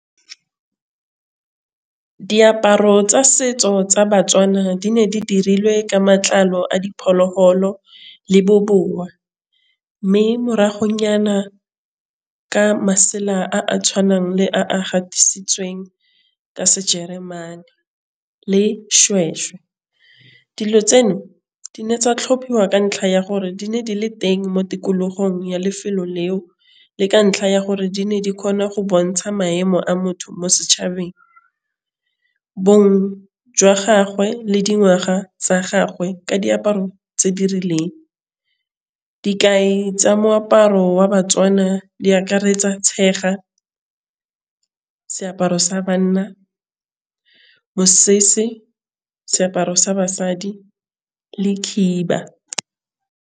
Diaparo tsa setso tsa Batswana di ne di dirilwe ka matlalo a diphologolo le bobowa mme moragonyana ke masela a a tshwanang le a gatisitsweng ka sejeremane le seshweshwe. Dilo tseno di ne tsa tlhophiwa ka ntlha ya gore di ne di le teng mo tikologong ya lefelo leo le ka ntlha ya gore di ne di kgona go bontsha maemo a motho mo setšhabeng jwa gagwe le dingwaga tsa gagwe ka diaparo tse di rileng dikai tsa moaparo wa batswana di akaretsa tshega seaparo sa banna mosese seaparo sa basadi le khiba.